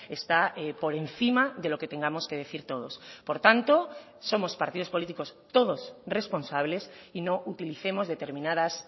está por encima de lo que tengamos que decir todos por tanto somos partidos políticos todos responsables y no utilicemos determinadas